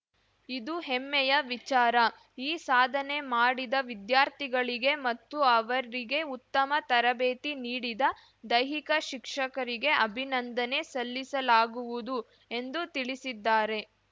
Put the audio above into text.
ಇದು ಹೆಮ್ಮೆಯ ವಿಚಾರ ಈ ಸಾಧನೆ ಮಾಡಿದ ವಿದ್ಯಾರ್ಥಿಗಳಿಗೆ ಮತ್ತು ಅವರಿಗೆ ಉತ್ತಮ ತರಬೇತಿ ನೀಡಿದ ದೈಹಿಕ ಶಿಕ್ಷಕರಿಗೆ ಅಭಿನಂದನೆ ಸಲ್ಲಿಸಲಾಗುವುದು ಎಂದು ತಿಳಿಸಿದ್ದಾರೆ